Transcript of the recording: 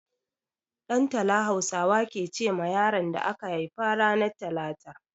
Ɗantala Hausawa ke ce ma yaron da aka haifa ranar talata.